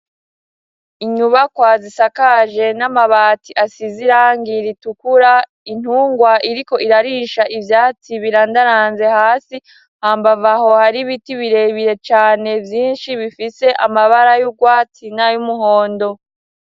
Inyubakwa zisakaje n'amabati asize irangi ritukura intungwa iriko irarisha ivyatsi birandaranze hasi hambavu aho hari ibiti birebire cane vyinshi bifise amabara y'urwatsi nay'umuhondo.